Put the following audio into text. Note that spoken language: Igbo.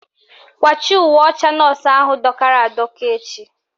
Kwachie uwe ọcha nọọsụ ahụ dọkara adọka echi!